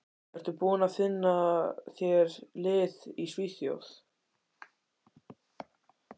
Ertu búinn að finna þér lið í Svíþjóð?